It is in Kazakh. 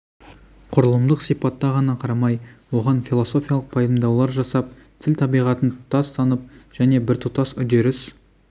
құрылымдық сипатта ғана қарамай оған философиялық пайымдаулар жасап тіл табиғатын тұтас танып және біртұтас үдеріс